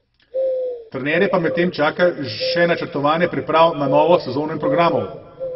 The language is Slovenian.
Trenerje pa medtem čaka še načrtovanje priprav na novo sezono in programov.